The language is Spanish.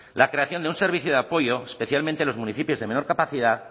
la creación de un servicio de apoyo especialmente en los municipios de menor capacidad